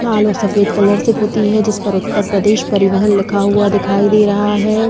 लाल और सफ़ेद कलर से पुती है जिस पर उत्तर प्रदेश परिवहन लिखा हुआ दिखाई दे रहा है।